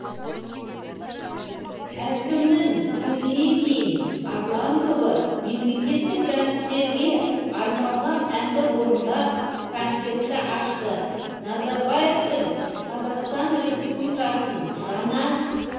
әкімнің сөзінен кейін арлан тобы мемлекеттік рәміздерге арналған әнді орындап концертті ашты назарбаевтың қазақстан республикасының жаңа